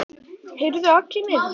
Heyrðu Aggi minn.